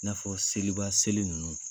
I n'a fɔ seliba seli ninnu